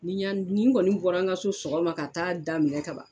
Ni yan ni n kɔni bɔra n ka so sɔgɔma ka taa daminɛ ka ban